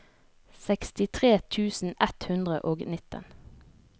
sekstitre tusen ett hundre og nitten